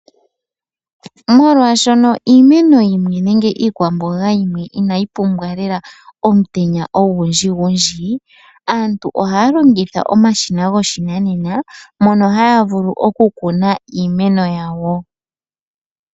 Molwaashono iimene yimwe nenge iikwamboga yimwe inayi pumbwa lela omutenya ogundjigundji, aantu ohaya longitha omashina goshinanena, mono haya vulu okukuna iimeno yawo.